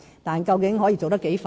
但是，究竟可以做得多快？